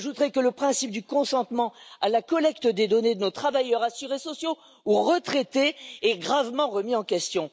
J'ajouterai que le principe du consentement à la collecte des données de nos travailleurs, assurés sociaux ou retraités est gravement remis en question.